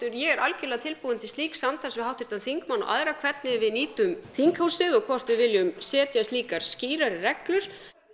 ég er algjörlega tilbúin til slíks samtals við háttvirtan þingmann og aðra hvernig við nýtum þinghúsið og hvort við viljum setja slíkar skýrari reglur